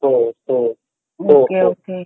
okay okay